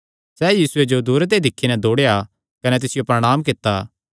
सैह़ यीशुये जो दूरे ते ई दिक्खी नैं दौड़ेया कने तिसियो प्रणांम कित्ता